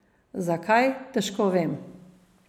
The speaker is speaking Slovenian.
Zakaj, težko vem.